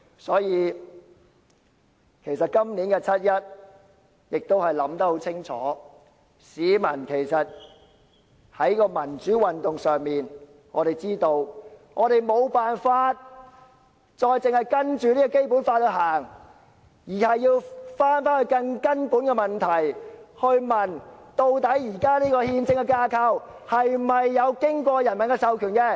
所以，對於今年的七一遊行，市民都思考得很清楚，市民也都知道，在民主運動方面，我們無法只是依循《基本法》，反而要思考更根本的問題：究竟現時的憲政架構有否經過人民授權？